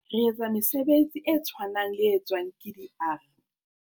"Re etsa mesebetsi e tshwanang le e tswang ke di-ARE."